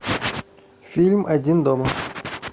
фильм один дома